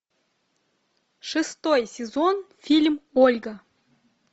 шестой сезон фильм ольга